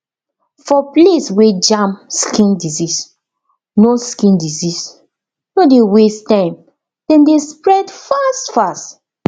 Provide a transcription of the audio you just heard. for place wer jam skin disease no skin disease no dey waste time dem dey spread fast fast